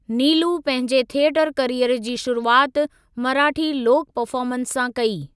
नीलू पंहिंजे theatre career जी शुरूआति मराठी लोक परफ़ार्मन्स सां कई।